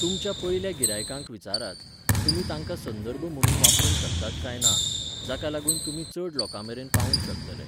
तुमच्या पयल्या गिरायकांक विचारात, तुमी तांकां संदर्भ म्हुणून वापरूंक शकतात काय ना, जाका लागून तुमी चड लोकांमेरेन पावूंक शकतले.